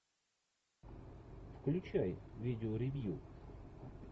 включай видео ревью